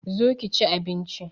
Zo ki chi abinchi